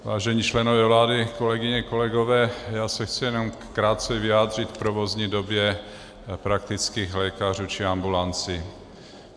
Vážení členové vlády, kolegyně, kolegové, já se chci jenom krátce vyjádřit k provozní době praktických lékařů či ambulancí.